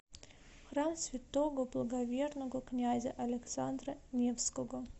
храм святого благоверного князя александра невского